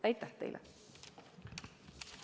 Aitäh teile!